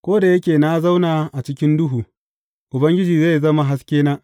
Ko da yake na zauna a cikin duhu, Ubangiji zai zama haskena.